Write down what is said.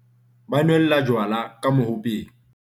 ba nwella jwala ka mohopeng